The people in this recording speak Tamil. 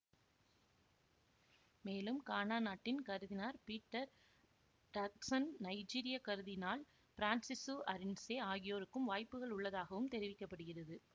மேலும் கானா நாட்டின் கருதினார் பீட்டர் டர்க்சன் நைஜீரிய கருதினால் பிரான்சிசு அரின்சே ஆகியோருக்கும் வாய்ப்புகள் உள்ளதாகவும் தெரிவிக்க படுகிறது